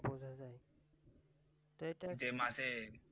যে মাছের